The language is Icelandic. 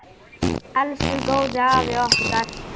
Elsku góði afi okkar.